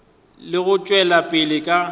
le go tšwela pele ka